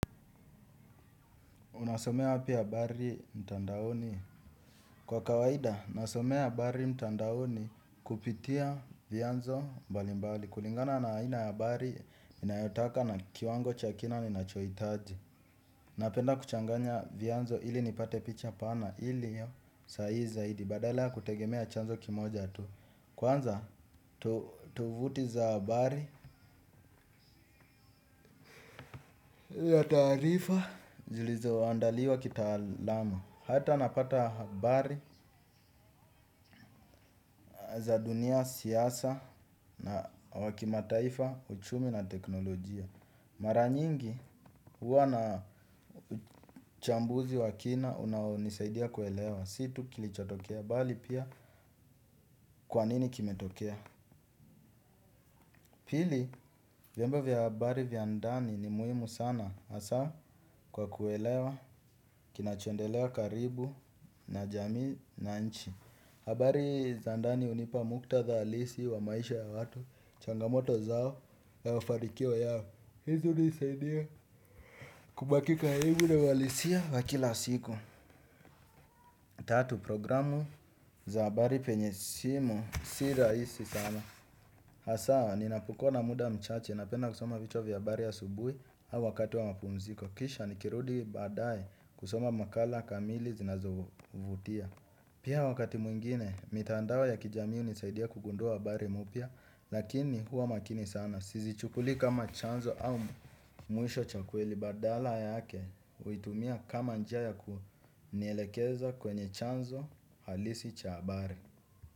Unasomea wapi abari mtandaoni? Kwa kawaida, ninasomea habari mtandaoni, kupitia vianzo mbalimbali, kulingana na aina ya habari ninayotaka na kiwango cha kina ninachoitaji. Napenda kuchanganya vianzo ili nipate picha pana, iliyo sahihi zaidi. Badala kutegemea chanzo kimoja tu. Kwanza, tuvuti za bari ya taarifa, zilizo andaliwa kitaalamu. Ata napata habari za dunia, siasa na wakimataifa, uchumi na teknolojia. Mara nyingi huwa na uchambuzi wa kina unaonisaidia kuelewa. Siyo tu kilichotokea, bali pia kwanini kimetokea. Pili, vyombo vya habari vya ndani ni muhimu sana haswa kwa kuelewa, kinachondelea karibu na jamii na nchi. Habari za ndani hunipa muktadha halisi wa maisha ya watu, changamoto zao ya ufanikio yao. Hizo hunisaidia kubaki karibu na walisia wa kila siku. Tatu, programu za habari penye simu si raisi sana. Haswa ninapokua na muda mchache, napenda kusoma vichwa vya habari asubuhi au wakati wa mapumziko. Kisha nikirudi baadaye kusoma makala kamili zinazovutia. Pia wakati mwingine, mitandao ya kijamii hunisaidia kugundua habari mpya, lakini huwa makini sana. Sizichukulii kama chanzo au mwisho cha kweli, badala yake, uitumia kama njia ya kunielekeza kwenye chanzo halisi cha habari.